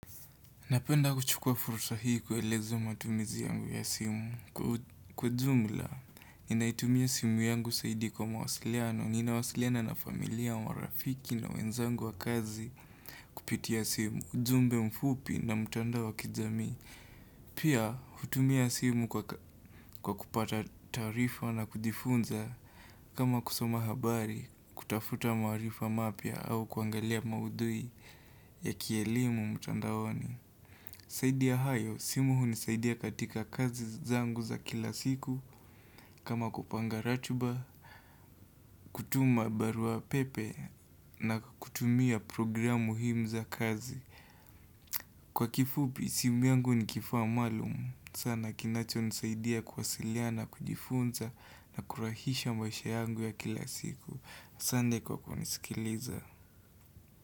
Napenda kuchukua fursa hii kueleza matumizi yangu ya simu. Kwa jumla, ninaitumia simu yangu zaidi kwa mawasiliano, ninawasiliana na familia, marafiki na wenzangu wa kazi kupitia simu, ujumbe mfupi na mtandao wa kijamii. Pia, hutumia simu kwa kupata tarifa na kudifunza kama kusoma habari, kutafuta maarifa mapya, au kuangalia maudhui ya kielimu mtandaoni. Zaidi ya hayo, simu hunisaidia katika kazi zangu za kila siku, kama kupanga ratiba, kutuma barua pepe na kutumia programu muhimu za kazi. Kwa kifupi, simu yangu ni kifaa maalum. Sana kinacho nisaidia kuwasiliana na kujifunza na kurahisha mwaisha yangu ya kila siku. Asante kwa kunisikiliza.